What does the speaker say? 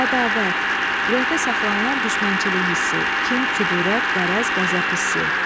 Ədavət, ürəkdə saxlanılan düşmənçilik hissi, kin, küdurət, qərəz, qəzəb hissi.